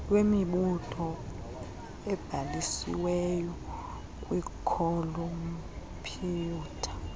lwemibutho ebhalisiwey kwikhompyutha